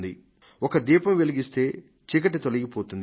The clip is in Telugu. ఒక దీపం వెలిగిస్తే చీకటి తొలగిపోతుంది